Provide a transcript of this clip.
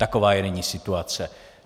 Taková je nyní situace.